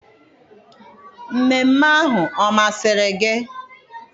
mmemme ahụ ọ masịrị gị?